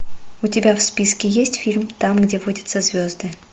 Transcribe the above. у тебя в списке есть фильм там где водятся звезды